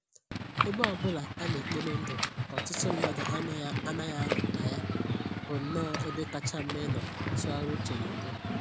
Ebe ọbụla a na-ekpori ndụ nke ọtụtụ mmadụ anaghị anọ na ya bụnnọ ebe kacha mma ịnọ tụgharịa uche n'udo